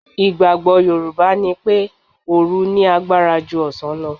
Ìgbàgbọ́ Yorùbá ni pé òòru ní agbára ju ọ̀sán lọ.